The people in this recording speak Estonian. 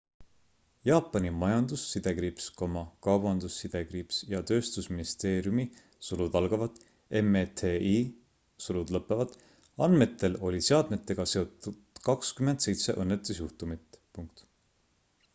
jaapani majandus- kaubandus- ja tööstusministeeriumi meti andmetel oli seadmetega seotud 27 õnnetusjuhtumit